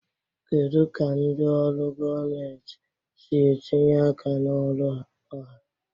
Kedu ka ndị ọrụ gọọmentị si etinye aka na ọrụ ọha?